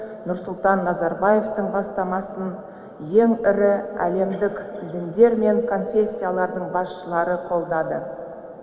нұрсұлтан назарбаевтың бастамасын ең ірі әлемдік діндер мен конфессиялардың басшылары қолдады